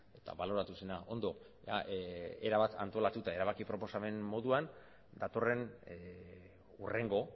eta baloratu zena ondo erabat antolatuta erabaki proposamen moduan datorren hurrengo